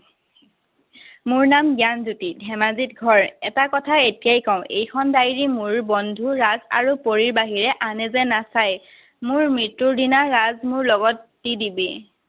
মোৰ নাম জ্ঞানজ্যোতি, ধেমাজিত ঘৰ। এটা কথা এতিয়াই কওঁ, এইখন diary মোৰ বন্ধু ৰাজ আৰু পৰীৰ বাহিৰে আনে যেন নাচায়। মোৰ মৃত্যুৰ দিনা ৰাজ, মোৰ লগত দি দিবি।